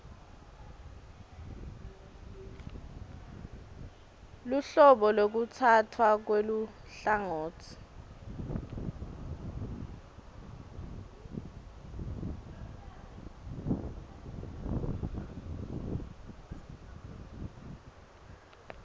luhlobo lwekutsatfwa kweluhlangotsi